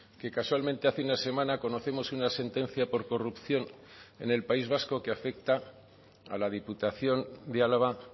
que casualmente hace una semana conocemos una sentencia por corrupción en el país vasco que afecta a la diputación de álava